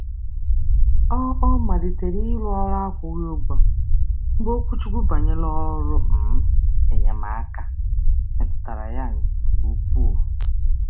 Ọ Ọ malitere iru ọrụ akwụghị ụgwọ mgbe okwuchukwu banyere ọrụ um enyemaaka meturu ya nke um ukwuu.